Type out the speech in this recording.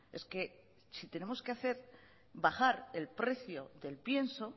es que si tenemos que bajar el precio del pienso